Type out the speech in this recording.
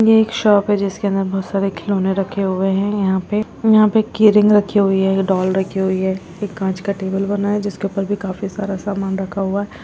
ये एक शॉप है जिसके अंदर बोहोत सारे खिलोने रखे हुए है यहाँ पे यहाँ पे कीरिंग रखी हुई है डॉल रखी हुई है एक कांच का टेबल बना है जिसके ऊपर भी काफ़ी सारा सामन रखा हुआ--